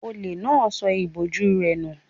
Olè náà sọ ìbòjú rẹ̀ nù